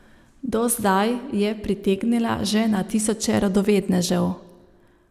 Do zdaj je pritegnila že na tisoče radovednežev.